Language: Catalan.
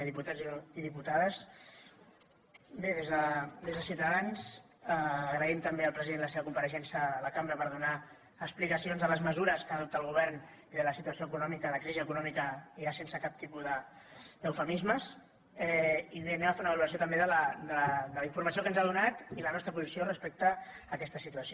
diputats i diputades bé des de ciutadans agraïm també al president la seva compareixença a la cambra per donar explicacions de les mesures que adopta el govern i de la situació econòmica la crisi econòmica ja sense cap tipus d’eufemismes i bé farem una valoració també de la informació que ens ha donat i la nostra posició respecte a aquesta situació